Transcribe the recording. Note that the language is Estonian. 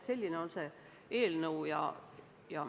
Selline on see eelnõu.